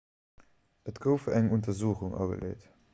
et gouf eng untersuchung ageleet